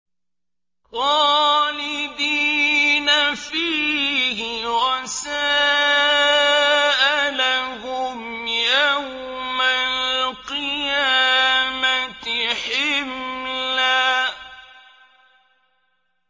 خَالِدِينَ فِيهِ ۖ وَسَاءَ لَهُمْ يَوْمَ الْقِيَامَةِ حِمْلًا